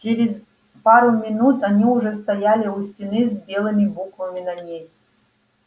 через пару минут они уже стояли у стены с белыми буквами на ней